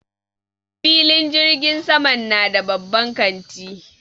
Filin jirgin saman na da babban kanti.